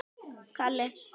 Má bjóða þér snafs, vinur?